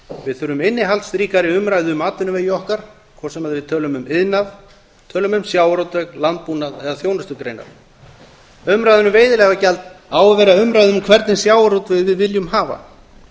við þurfum innihaldsríkari umræðu um atvinnuvegi okkar hvort sem við tölum um iðnað tölum um sjávarútveg landbúnað eða þjónustugreinar umræðan um veiðileyfagjald á að vera umræða um hvernig sjávarútveg við viljum hafa